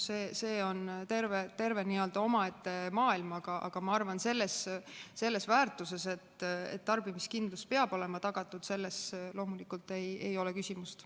See on terve omaette maailm, aga ma arvan, et selles, et tarbimiskindlus peab olema tagatud, loomulikult ei ole küsimust.